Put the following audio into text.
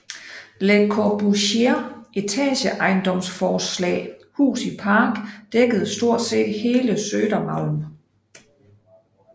Le Corbusiers etageejendomsforslag Hus i Park dækkede stort set hele Södermalm